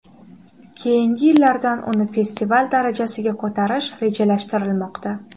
Keyingi yillardan uni festival darajasiga ko‘tarish rejalashtirilmoqda.